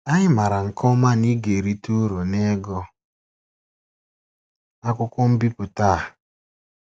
Anyị mara nke ọma na ị ga-erite uru n'ịgụ akwụkwọ mbipụta a.